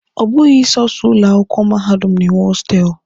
Ọ bụghị sọsọ ụlọ akwụkwọ mahadum na-enwe hostelụ.